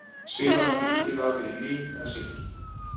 síðan var líkið vafið í lín eða silki